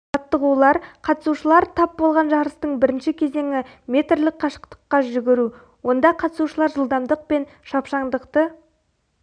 жаттығулар қатысушылар тап болған жарыстың бірінші кезеңі метрлік қашықтыққа жүгіру онда қатысушылар жылдамдық пен шапшаңдықты